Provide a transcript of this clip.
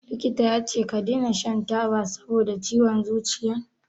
Likita yace ka dena shan taba saboda ciwon zuciyan?